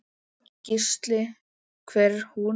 Gísli: Hver er hún?